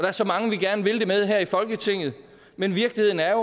er så mange vi gerne vil det med her i folketinget men virkeligheden er